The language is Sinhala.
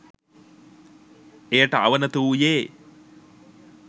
එයට අවනත වූයේ